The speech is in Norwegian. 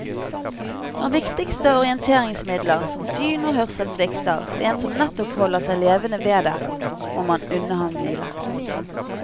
Når viktigste orienteringsmidler, som syn og hørsel svikter for en som nettopp holder seg levende ved det, må man unne ham hvile.